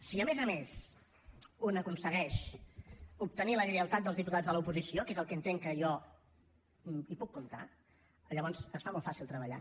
si a més a més un aconsegueix obtenir la lleialtat dels diputats de l’oposició que és el que jo entenc que hi puc comptar llavors es fa molt fàcil treballar